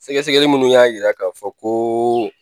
Sɛgɛsɛgɛli minnu y'a yira k'a fɔ ko